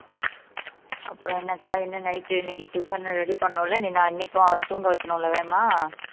அப்புறம் என்னக்கா என்ன night இன்னைக்கு tiffin ready பண்ணணும் இல்ல நீ அன்னைக்கும் அவரை தூங்க வைக்கணும் இல்ல வேகமா